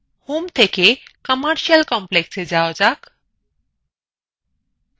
home থেকে commercial complex এ যাওয়া যাক